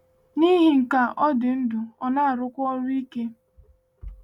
N’ihi nke a, ọ dị ndụ, ọ na-arụkwa ọrụ ike.